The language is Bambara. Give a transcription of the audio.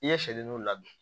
I ye sɛ ninnu labɛn